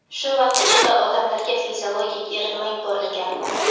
shu vaqt ichida odamlarga fiziologik eritma yuborilgan.